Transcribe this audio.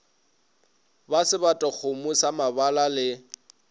ba sebatakgomo sa mabala le